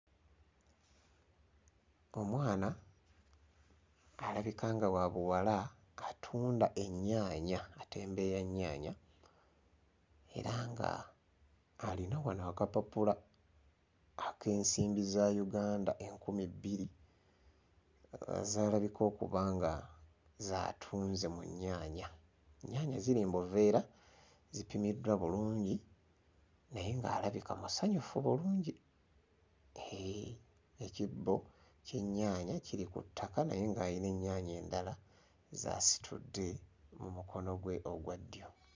Omwana alabika nga wa buwala atunda ennyaanya atembeeya nnyaanya era ng'alina wano akapapula ak'ensimbi za Uganda enkumi bbiri z'alabika okuba nga z'atunze mu nnyaanya. Ennyaanya ziri mu buveera zipimiddwa bulungi naye ng'alabika musanyufu bulungi. Hee, ekibbo ky'ennyaanya kiri ku ttaka naye ng'ayina ennyaanya endala z'asitudde mu mukono gwe ogwa ddyo.